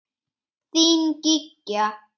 Þín, Gígja.